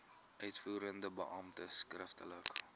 uitvoerende beampte skriftelik